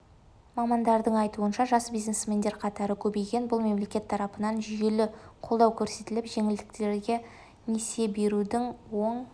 мамандардың айтуынша жас бизнесмендер қатары көбейген бұл мемлекет тарапынан жүйелі қолдау көрсетіліп жеңілдетілген несие берудің оң